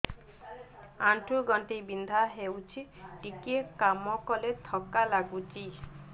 ଆଣ୍ଠୁ ଗଣ୍ଠି ବିନ୍ଧା ହେଉଛି ଟିକେ କାମ କଲେ ଥକ୍କା ଲାଗୁଚି